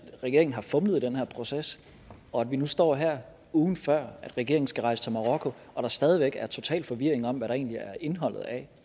regeringen har fumlet i den her proces og at vi nu står her ugen før regeringen skal rejse til marokko og stadig væk har total forvirring om hvad der egentlig er indholdet af